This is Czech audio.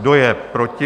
Kdo je proti?